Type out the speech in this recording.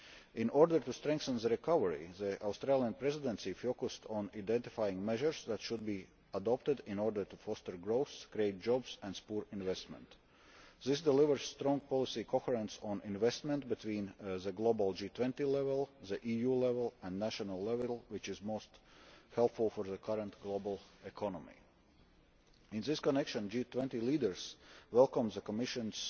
In order to strengthen the recovery, the Australian Presidency focused on identifying measures that should be adopted in order to foster growth, create jobs and support investment. This delivers strong policy coherence on investment between the global G20 level, the EU level and national level, which is most helpful for the current global economy. In this connection, G20 leaders welcomed the Commission's